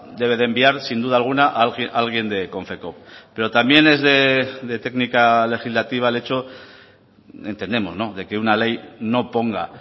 debe de enviar sin duda alguna alguien de konfekoop pero también es de técnica legislativa el hecho entendemos de que una ley no ponga